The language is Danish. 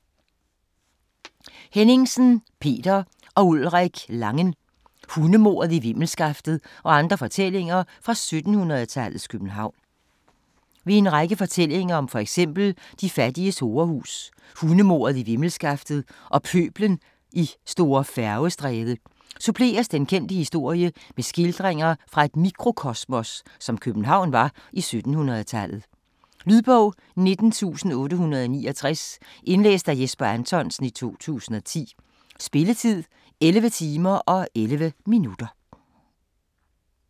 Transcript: Henningsen, Peter og Ulrik Langen: Hundemordet i Vimmelskaftet og andre fortællinger fra 1700-tallets København Ved en række fortællinger om fx de fattiges horehus, hundemordet i Vimmelskaftet og pøblen i St. Færgestræde suppleres den kendte historie med skildringer fra et mikrokosmos, som København var i 1700-tallet. Lydbog 19869 Indlæst af Jesper Anthonsen, 2010. Spilletid: 11 timer, 11 minutter.